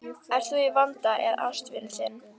Ert þú í vanda eða ástvinur þinn?